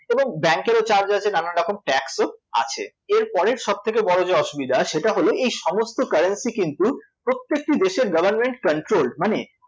এবং bank এরও charge আছে এবং নানারকম tax ও আছে, এরপরের সবথেকে বড় যে অসুবিধা সেটা হল এই সমস্ত্য currency কিন্তু প্রত্যেকটি দেশের government controlled মানে